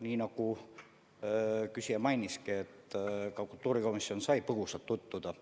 Nii nagu te mainisite, ka kultuurikomisjon sai põgusalt tutvuda